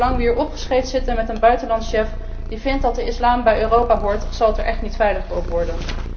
En zolang we hier opgescheept zitten met een buitenlandchef die vindt dat de islam bij Europa hoort, zal het er echt niet veiliger op worden.